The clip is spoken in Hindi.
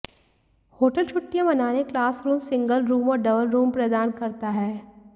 होटल छुट्टियां मनाने क्लास रूम सिंगल रूम और डबल रूम प्रदान करता है